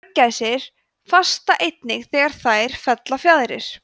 mörgæsir fasta einnig þegar þær fella fjaðrir